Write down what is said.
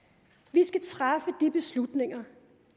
vi skal træffe de beslutninger